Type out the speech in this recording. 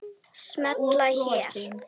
Smella hér